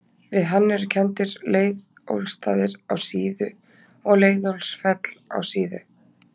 við hann eru kenndir leiðólfsstaðir á síðu og leiðólfsfell á síðu